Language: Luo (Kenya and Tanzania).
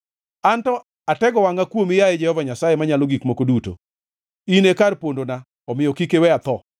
Anto atego wangʼa kuomi, yaye Jehova Nyasaye Manyalo Gik Moko Duto; In e kar pondona, omiyo kik iwe atho.